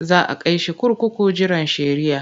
Za a kai shi kurkuku jiran shari'ah.